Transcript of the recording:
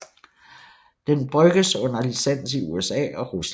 Den brygges under licens i USA og Rusland